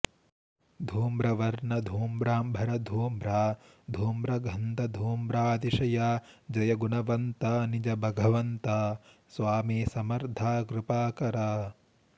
धूम्रवर्ण धूम्रांबर धूम्रा धूम्रगंध धूम्रातिशया जय गुणवंता निज भगवंता स्वामी समर्था कृपाकरा